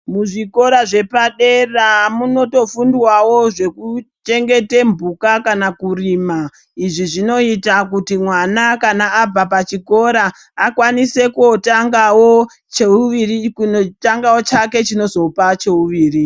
Muzvikora zvepadera munotofundwawo zvekuchengeta mbuka kana kurima izvi zvinoita kuti mwana kana abva pachikora akwanise kuzotangawo chake chinozopa cheuviri.